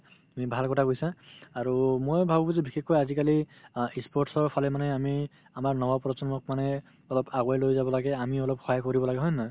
তুমি ভাল কথা কৈছা আৰু মই ভাবো যে বিশেষকৈ আজিকালি অ ই sports ৰ ফালে মানে আমি আমাৰ নৱপ্ৰজন্মক মানে অলপ আগুৱাই লৈ যাব লাগে আমি অলপ সহায় কৰিব লাগে হয় নে নহয়